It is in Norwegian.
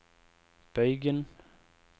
bøygen